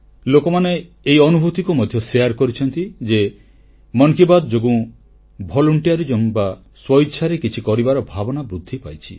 ଲୋକମାନେ ଏହି ଅନୁଭୂତିକୁ ମଧ୍ୟ ବାଣ୍ଟିଛନ୍ତି ଯେ ମନ କି ବାତ୍ ଯୋଗୁଁ ସ୍ୱଇଚ୍ଛାରେ କିଛି କରିବାର ଭାବନା ବୃଦ୍ଧି ପାଇଛି